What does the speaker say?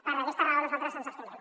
per aquesta raó nosaltres ens abstindrem